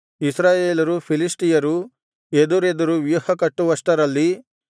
ಇಸ್ರಾಯೇಲರು ಫಿಲಿಷ್ಟಿಯರೂ ಎದುರೆದುರು ವ್ಯೂಹಕಟ್ಟುವಷ್ಟರಲ್ಲಿ